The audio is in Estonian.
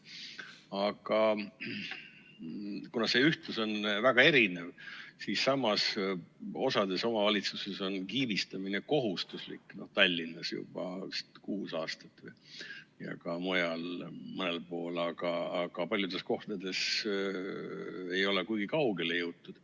See on väga erinev, osades omavalitsustes on kiibistamine kohustuslik, Tallinnas vist juba kuus aastat ja ka mõnel pool mujal, aga paljudes kohtades ei ole kuigi kaugele jõutud.